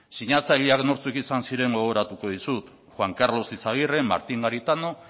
sinatzaileak nortzuk izan ziren gogoratuko dizut juan karlos izagirre martin garitano